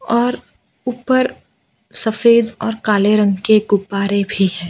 और ऊपर सफेद और काले रंग के गुब्बारे भी है।